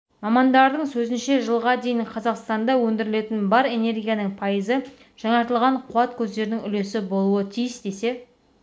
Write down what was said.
мамандардың сөзінше жылға дейін қазақстанда өндірілетін бар энергияның пайызы жаңартылған қуат көздерінің үлесі болуы тиіс десе